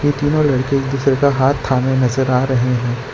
ये तीनों लड़के एक दूसरे का हाथ थामे नजर आ रहे हैं।